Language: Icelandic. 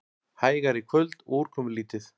Hægari í kvöld og úrkomulítið